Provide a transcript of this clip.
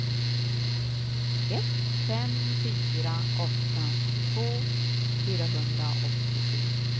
ett fem fyra åtta tjugotvå fyrahundraåttiosju